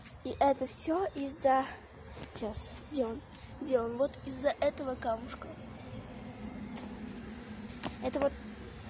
и это всё из-за сейчас где он где он вот из-за этого камушка это вот